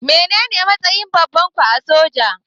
Mene ne matsayin babanku a soja?